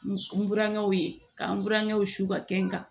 N burankɛw ye ka n burankɛw su ka kɛ n kan